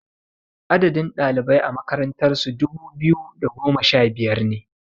Adadin ɗalibai a makarantar su dubu biyu da goma sha biyar ne